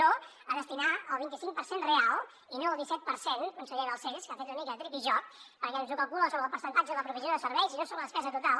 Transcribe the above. no a destinar el vint i cinc per cent real i no el disset per cent conseller balcells que ha fet una mica tripijoc perquè ens ho calcula sobre el percentatge de la provisió de serveis i no sobre la despesa total